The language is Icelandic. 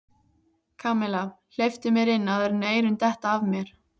Kamilla, hleyptu mér inn áður en eyrun detta af mér